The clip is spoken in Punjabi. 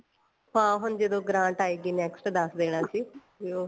ਹਾਂ ਹੁਣ ਜਦੋਂ grant ਆਈਗੀ next ਦੱਸ ਦਿਨਾ ਚ ਬੀ ਉਹ